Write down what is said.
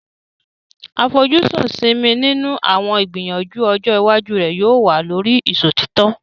Àfojúsùn Simi nínú àwọn ìgbìyànjú ọjọ́ iwájú rẹ̀ yóò wà lórí ìṣòtítọ́.